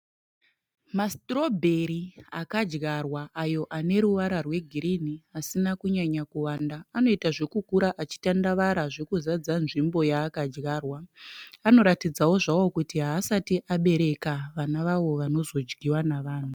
Ma(strawberry) akadyarwa ayo aneruvara rwegirini asina kunyanya kuwanda. Arikukura achiita zvekutandavara zvekuzadza nzvimbo yaakadyarwa. Anoratidzawo zvawo kuti haasati abereka vana avo vanozodyiwa nevanhu.